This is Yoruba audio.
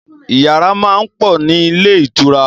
Yàrá máa ń pọ̀ nílé ìtura